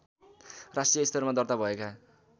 राष्ट्रिय स्तरमा दर्ता भएका